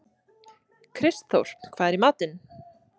Kristþór, hvað er í matinn?